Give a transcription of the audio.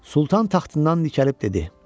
Sultan taxtından dikəlib dedi: